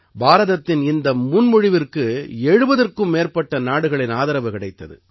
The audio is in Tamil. பாரதத்தின் இந்த முன்மொழிவிற்கு 70ற்கும் மேற்பட்ட நாடுகளின் ஆதரவு கிடைத்தது